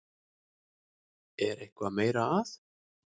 Er eitthvað meira að?